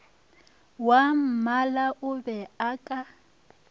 wwammala o be a ka